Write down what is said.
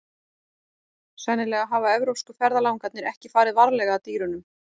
Sennilega hafa evrópsku ferðalangarnir ekki farið varlega að dýrunum.